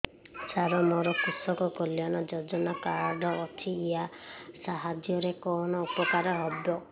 ସାର ମୋର କୃଷକ କଲ୍ୟାଣ ଯୋଜନା କାର୍ଡ ଅଛି ୟା ସାହାଯ୍ୟ ରେ କଣ ଉପକାର ହେବ